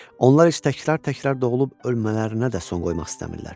Onlar heç təkrar-təkrar doğulub ölmələrinə də son qoymaq istəmirlər.